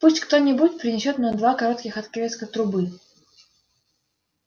пусть кто-нибудь принесёт нам два коротких отрезка трубы